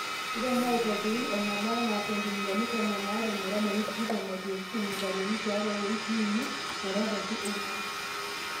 iremo aitopirik enaba anaa esentimitani tomon are metabaiki tikitam aitirish irmutaroni tiatua iwoikii uni metabaiki onguan